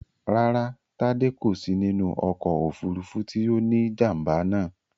Rárá, Tádé kò sí nínú ọkọ̀ òfúrufú tí ó ní jàm̀bà náà